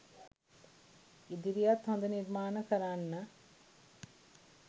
ඉදිරියත් හොද නිර්මාණ කරන්න